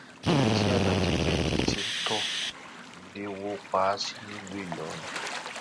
níbi tí alhaji beki ti ń tò nílẹ wò pa á sí nílùú ìlọrin